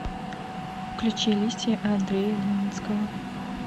включи листья андрея леницкого